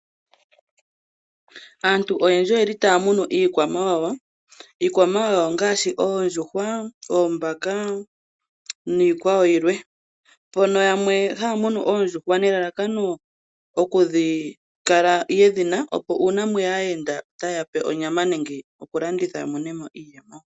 Aantu oyendji otaya munu iikwamawawa. Iikwamawawa ongaashi oondjuhwa, oombaka, niikwa wo yilwe. Yamwe ohaya munu oondjuhwa nelalakano oku kala yedhina opo uuna mweya aayenda ote yape onyama nenge talanditha amone mo oshimaliwa.